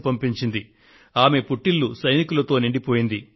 ఆమె పుట్టినిల్లు మెట్టినిల్లు కూడా సైనికులతో నిండిపోయింది